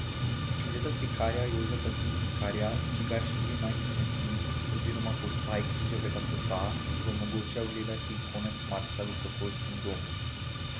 Gre za slikarja Jožeta Tisnikarja, čigar štirinajst umetnin oziroma postaj križevega pota si bo mogoče ogledati konec marca v Sokolskem domu.